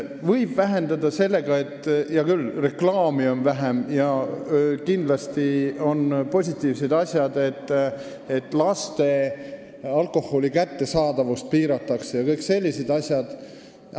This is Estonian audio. Võib vähendada sellega, hea küll, kui reklaami on vähem, ja kindlasti on positiivne, et alkoholi kättesaadavust laste seas piiratakse – kõik sellised asjad on positiivsed.